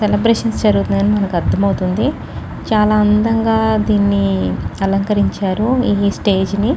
celebrations జరుగుతున్నాయి అని మనకి అర్థమవుతుంది చాలా అందంగా దీన్ని అలంకరించారు ఈ స్టేజ్ ని--